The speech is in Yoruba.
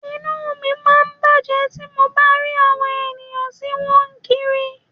Inú mi máa ń bàjẹ́ tí mo bá rí àwọn èèyàn tí wọ́n ń kiri